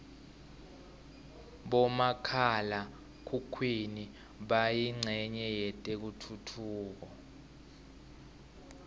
bomakhala khukhwini bayincenye yetentfutfuko